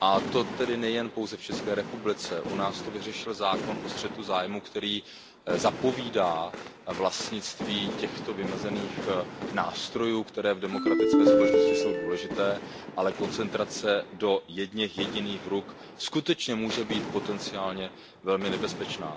To tedy nejen pouze v ČR, u nás to vyřešil zákon o střetu zájmů, který zapovídá vlastnictví těchto vymezených nástrojů, které v demokratické společnosti jsou důležité, ale koncentrace do jedněch jediných rukou skutečně může být potenciálně velmi nebezpečná.